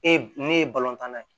E ne ye tan na ye